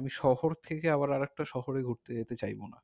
আমি শহর থেকে আবার আরেকটা শহরে ঘুরতে যেতে চাইবো না